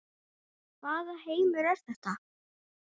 Hvaða heimur er þetta?